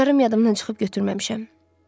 Açarlarım yadımdan çıxıb götürməmişəm.